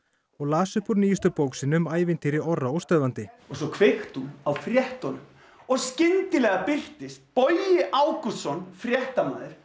og las upp úr nýjustu bók sinni um ævintýri Orra óstöðvandi og svo kveikti hún á fréttunum og skyndilega birtist Bogi Ágústsson fréttamaður